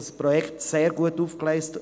Das Projekt ist sehr gut aufgegleist.